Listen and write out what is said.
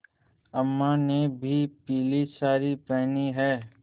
अम्मा ने भी पीली सारी पेहनी है